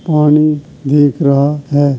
पानी दिख रहा है।